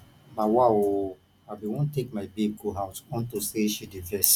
nawa oooo i bin wan take my babe go out unto say she dey vex